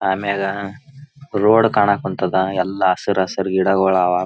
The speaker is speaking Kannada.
ಆಮೇಲ ರೋಡ್ ಕಾಣಕಂತಾದ ಎಲ್ಲಾ ಹಸರ್ ಹಸರ್ ಗಿಡಗೊಳ ಅವಾ.